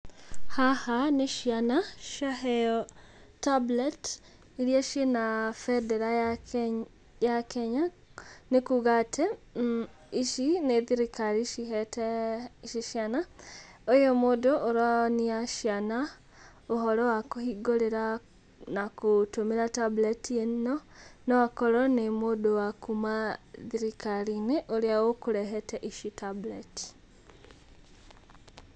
Haha, nĩ ciana ciaheyo tablets iria ciĩ na bendera ya Kenya. Nĩ kuuga atĩ ici nĩ thirikari cihete ici ciana. Ũyũ mũndũ ũronia ciana ũhoro wa kũhingũrĩra na gũtũmĩra tablet ĩno no akorwo nĩ mũndũ wa kuma thirikari-inĩ ũrĩa ũkũrehete ici tablets.